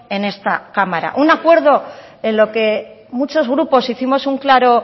en esta cámara un acuerdo en lo que muchos grupos hicimos un claro